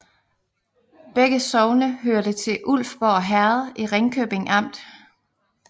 Begge sogne hørte til Ulfborg Herred i Ringkøbing Amt